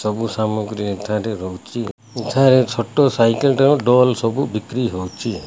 ସବୁ ସାମଗ୍ରୀ ଏଠାରେ ରହୁଚି। ଏଠାରେ ଛୋଟ ସାଇକଲ ଠାରୁ ଡୋଲ୍ ସବୁ ବିକ୍ରୀ ହଉଚି।